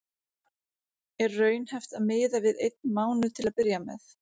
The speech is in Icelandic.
Er raunhæft að miða við einn mánuð til að byrja með?